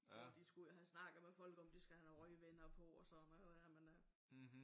Hvor de skulle ud og have snakket med folk om at de skulle have noget røgvender på og sådan noget der men øh